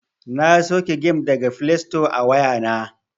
Na sauke gem daga flesto a wayana.